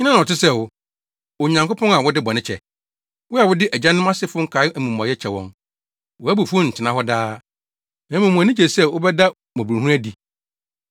Hena na ɔte sɛ wo, Onyankopɔn a wode bɔne kyɛ? Wo a wode agyanom asefo nkae amumɔyɛ kyɛ wɔn. Wʼabufuw ntena hɔ daa, na mmom wʼani gye sɛ wobɛda mmɔborɔhunu adi.